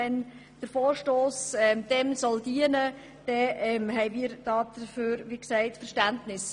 Wenn der Vorstoss diesem Ziel dienen soll, haben wir dafür Verständnis.